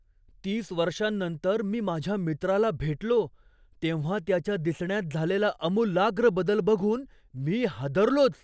तीस वर्षांनंतर मी माझ्या मित्राला भेटलो तेव्हा त्याच्या दिसण्यात झालेला आमुलाग्र बदल बघून मी हादरलोच!